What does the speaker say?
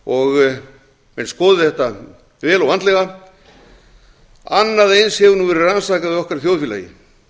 og menn skoði þetta vel og vandlega annað eins hefur nú verið rannsakað í okkar þjóðfélagi